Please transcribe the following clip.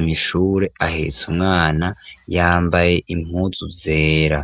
mw'ishure ahetse umwana yambaye impunzu zera.